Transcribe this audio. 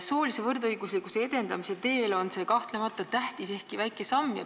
Soolise võrdõiguslikkuse edendamise teel on see kahtlemata tähtis, ehkki väike samm.